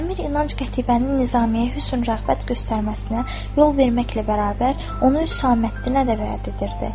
Əmir İnanc Qətibənin Nizamiyə hüsn-rəğbət göstərməsinə yol verməklə bərabər, onu Üsaməddinə də vəəd edirdi.